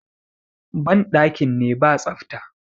bandakin ne ba tsafta